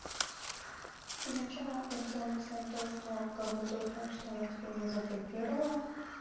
изначально я хотела написать то что как бы тот факт что она тебя не заблокировала